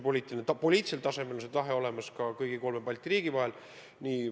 Poliitilisel tasandil on see tahe olemas kõigil kolmel Balti riigil.